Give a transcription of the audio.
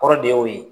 Kɔrɔ de y'o ye